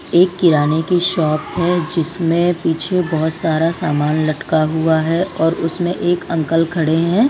एक किराने की शॉप है जिसमें पीछे बहोत सारा सामान लटका हुआ है और उसमें एक अंकल खड़े हैं।